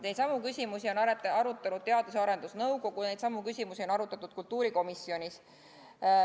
Neidsamu küsimusi on arutanud Teadus- ja Arendusnõukogu, neidsamu küsimusi on arutatud kultuurikomisjonis.